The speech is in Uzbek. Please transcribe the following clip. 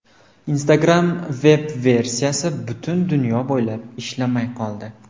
Instagram veb-versiyasi butun dunyo bo‘ylab ishlamay qoldi.